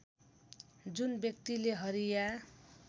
जुन व्यक्तिले हरिया